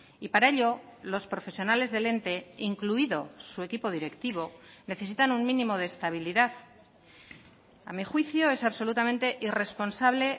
y para ello los profesionales del ente incluido su equipo directivo necesitan un mínimo de estabilidad a mi juicio es absolutamente irresponsable